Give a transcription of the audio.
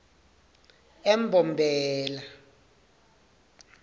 embombela